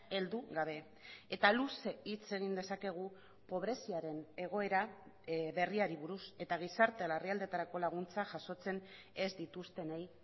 heldu gabe eta luze hitz egin dezakegu pobreziaren egoera berriari buruz eta gizarte larrialditarako laguntza jasotzen ez dituztenei